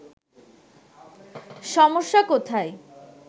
সমস্যা কোথায়”